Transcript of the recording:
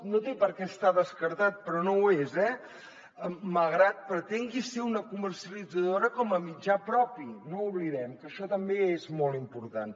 no té per què estar descartat però no ho és eh malgrat que pretengui ser una comercialitzadora com a mitjà propi no ho oblidem que això també és molt important